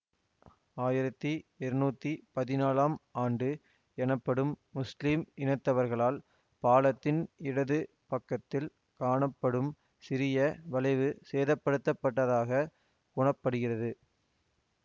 ஆயிரத்தி இருநூத்தி பதினாலாம் ஆண்டி எனப்படும் முஸ்லிம் இனத்தவர்களால் பாலத்தின் இடது பக்கத்தில் காணப்படும் சிறிய வளைவு சேதப்படுத்தப்பட்டதாகக் கூற படுகிறது